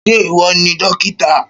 Ṣé ìwọ ni dókítà?